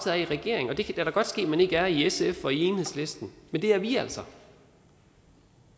af i regeringen det kan da godt ske at man ikke er det i sf og enhedslisten men det er vi altså